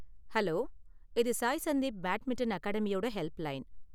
Hello, இது Sai Sandeep badminton அகாடமியோட helpline.